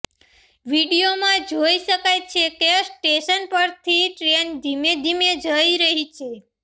વીડિયોમાં જોઈ શકાય છે કે સ્ટેશન પરથી ટ્રેન ધીમે ધીમે જઈ રહી છે